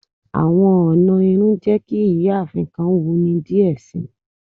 Awọn ọna irun jẹ ki iyaafin kan wuni diẹ sii.